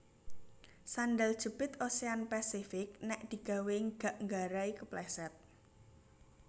Sendal jepit Ocean Pacific nek digawe gak nggarai kepleset